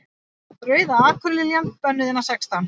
Rauða akurliljan. bönnuð innan sextán